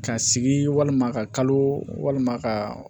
Ka sigi walima ka kalo walima ka